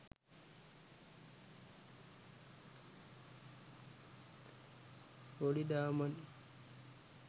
bodi dharman